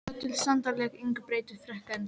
Það vill sannarlega engu breyta frekar en þú.